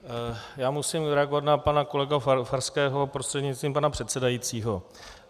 Já musím reagovat na pana kolegu Farského prostřednictvím pana předsedajícího.